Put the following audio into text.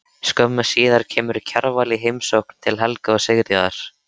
Skömmu síðar kemur Kjarval í heimsókn til Helga og Sigríðar.